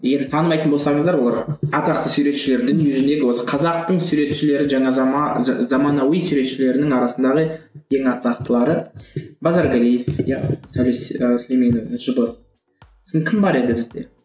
егер танымайтын болсаңыздар олар атақты суретшілер дүниежүзінен осы қазақтың суретшілері жаңа заманауи суретшілерінің арасындағы ең атақтылары базаргалиев иә кім бар еді бізде